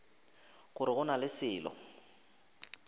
gore go na le selo